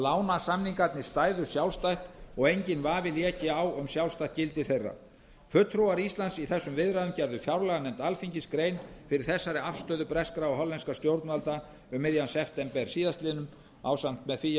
lánasamningarnir stæðu sjálfstætt og enginn vafi léki á um sjálfstætt gildi þeirra fulltrúar íslands í þessum viðræðum gerðu fjárlaganefnd alþingis grein fyrir þessari afstöðu breskra og hollenskra stjórnvalda um miðjan september síðastliðinn niðurstaðan